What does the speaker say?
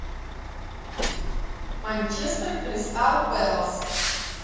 манчестер кристал пэлас